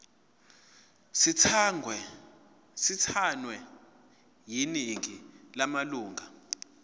sithathwe yiningi lamalunga